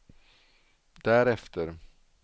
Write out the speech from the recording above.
därefter